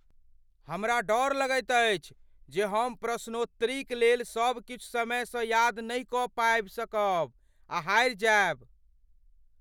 हमरा डर अछि जे हम प्रश्नोत्तरीक लेल सब किछु समयसँ याद नहि कऽ पाबि सकब आ हारि जायब।